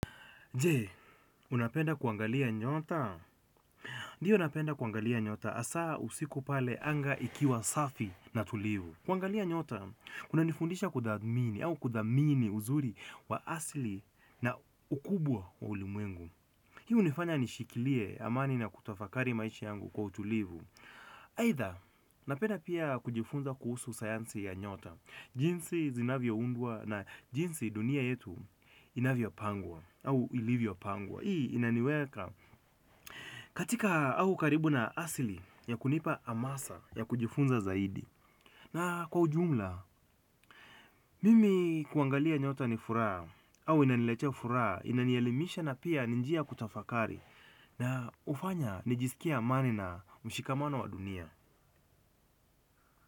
Je, unapenda kuangalia nyota? Ndiyo napenda kuangalia nyota hasa usiku pale anga ikiwa safi na tulivu. Kuangalia nyota, kunanifundisha kutathmini au kudhamini uzuri wa asili na ukubwa wa ulimwengu. Hii hunifanya nishikilie amani na kutafakari maisha yangu kwa utulivu. Aidha, napenda pia kujifunza kuhusu sayansi ya nyota. Jinsi zinavyoundwa na jinsi dunia yetu inavyopangwa au ilivyopangwa. Hii inaniweka katika au karibu na asili ya kunipa hamasa ya kujifunza zaidi. Na kwa ujumla mimi kuangalia nyota ni furaha au inaniletea furaha, inanielimisha na pia ni njia kutafakari na hufanya nijisikie amani na mshikamano wa dunia.